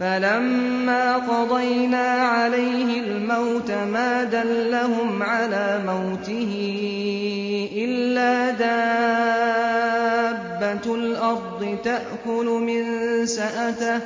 فَلَمَّا قَضَيْنَا عَلَيْهِ الْمَوْتَ مَا دَلَّهُمْ عَلَىٰ مَوْتِهِ إِلَّا دَابَّةُ الْأَرْضِ تَأْكُلُ مِنسَأَتَهُ ۖ